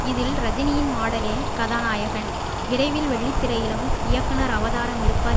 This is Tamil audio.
இதில் ரஜினியின் மாடலே கதாநாயகன் விரைவில் வெள்ளித்திரையிலும் இயக்குனர் அவதாரமெடுப்பார்